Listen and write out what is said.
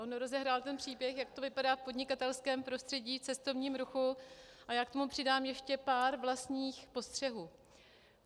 On rozehrál ten příběh, jak to vypadá v podnikatelském prostředí, cestovním ruchu, a já k tomu přidám ještě pár vlastních postřehů.